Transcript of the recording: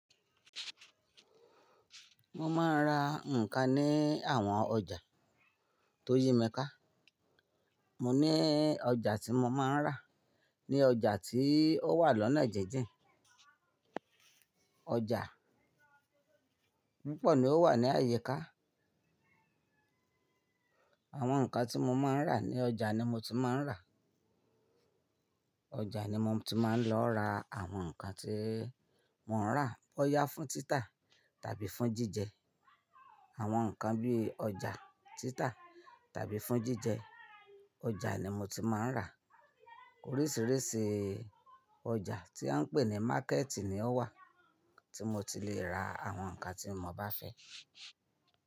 Mo máa ń ra nǹkan ní àwọn ọjà tó yí mi ká. Mo ní ọjà tí mo máa ń rà. Ni ọjà tí ó wà lọ́nà jin jin. Ọjà púpọ̀ ni ó wà ní ayika nǹkan tí mo máa ń rà ní ọjà ni mo ti máa ń rà. Ọjà ni mo ti máa ń lọ ra àwọn nǹkan tí mo ń rà bóyá fún títa tàbí fún jíjẹ. Àwọn nǹkan bí ọjà, títa tàbí fún jíjẹ. Ọjà ni mo ti máa ń rà. Oríṣiríṣi ọjà tí a ń pè ní Má̀kẹ̀tì ni ó wà tí mo ti lè ra àwọn nǹkan tí mo bá fẹ́.